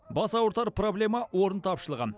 бас ауыртар проблема орын тапшылығы